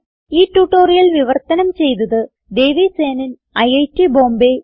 ഈ ട്യൂട്ടോറിയൽ വിവർത്തനം ചെയ്തത് ദേവി സേനൻ ഐറ്റ് ബോംബേ